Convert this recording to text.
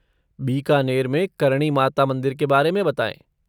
बीकानेर में करणी माता मंदिर के बारे में बताएँ।